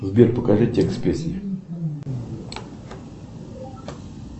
сбер покажи текст песни